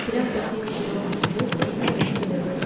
திறம் பெற்றிருக்கிறோம் என்று செய்தி அனுப்புகிறது